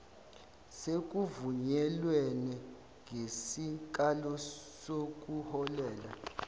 sekuvunyelwene ngesikalo sokuholela